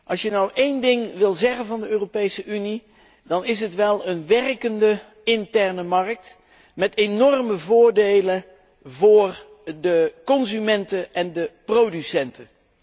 Als je nu één ding wil zeggen van de Europese Unie, dan is het wel een werkende interne markt met enorme voordelen voor de consumenten en de producenten.